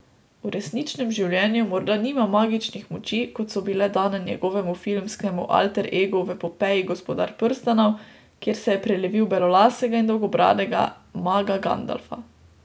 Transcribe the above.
V resničnem življenju morda nima magičnih moči, kot so bile dane njegovemu filmskemu alter egu v epopeji Gospodar prstanov, kjer se je prelevil v belolasega in dolgobradega maga Gandalfa.